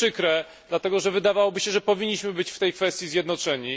To jest przykre, dlatego że wydawałoby się, że powinniśmy być w tej kwestii zjednoczeni.